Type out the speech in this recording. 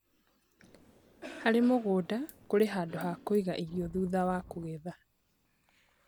Harĩ mũgũnda kũri handũ ha kũiga irio thutha wa kũgetha